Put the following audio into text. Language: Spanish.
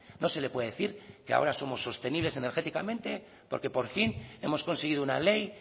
no se le puede decir que ahora somos sostenibles energéticamente porque por fin hemos conseguido una ley